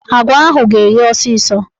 Agwa ahụ ga-eghe ọsịsọ